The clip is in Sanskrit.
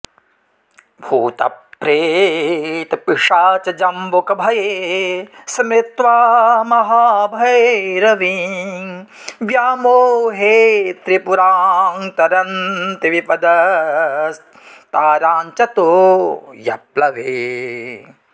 भूतप्रेतपिशाचजम्बुकभये स्मृत्वा महाभैरवीं व्यामोहे त्रिपुरां तरन्ति विपदस्ताराञ्च तोयप्लवे